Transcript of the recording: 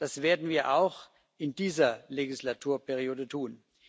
Das werden wir auch in dieser Legislaturperiode tun.